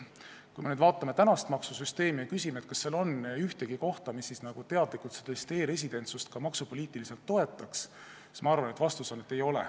Kui me vaatame tänast maksusüsteemi ja küsime, kas seal on ühtegi kohta, mis teadlikult e-residentsust maksupoliitiliselt toetaks, siis ma arvan, et vastus on ei.